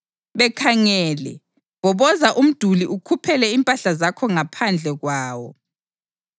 Bekhangele, bhoboza umduli ukhuphele impahla zakho ngaphandle kwawo.